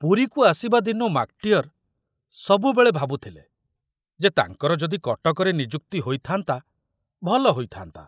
ପୁରୀକୁ ଆସିବା ଦିନୁ ମାକଟିଅର ସବୁବେଳେ ଭାବୁଥିଲେ ଯେ ତାଙ୍କର ଯଦି କଟକରେ ନିଯୁକ୍ତି ହୋଇଥାନ୍ତା, ଭଲ ହୋଇଥାନ୍ତା।